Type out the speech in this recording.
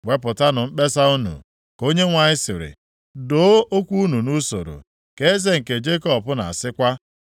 “Wepụtanụ mkpesa unu,” ka Onyenwe anyị sịrị, “Doo okwu unu nʼusoro,” ka Eze nke Jekọb na-asịkwa.